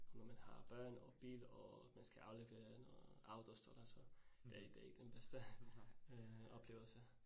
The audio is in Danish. Og når man har børn og bil og man skal aflevere noget autostol så det det ikke den bedste øh oplevelse